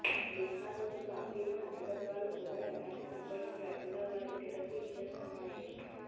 బీహార్ లోని పార్టీల నాయకత్వాలు కూడా ఎలాంటి సంకోచం లేకుండా వారికి టికెట్లు ఇచ్చేస్తున్నాయి